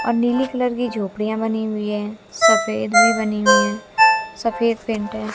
और नीली कलर की झोपड़ियां बनी हुई है सफेद भी बनी हुई है सफेद पेंट है।